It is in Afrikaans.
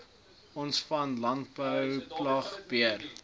o v landbouplaagbeheer